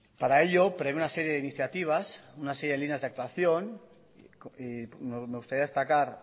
para ello prevé una serie de iniciativas una serie de líneas de actuación me gustaría destacar